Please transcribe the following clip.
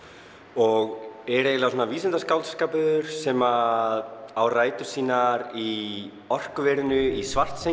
og er eiginlega vísindaskáldskapur sem á rætur sínar í orkuverinu í